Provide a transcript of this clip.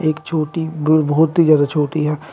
एक छोटी बहुत ही ज्यादा छोटी है।